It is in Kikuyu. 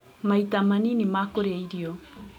Maita manini ma kũria irio